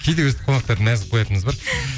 кейде өйстіп қонақтарды мәз қылып қоятынымыз бар